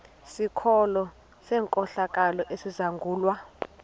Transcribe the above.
sikolo senkohlakalo esizangulwa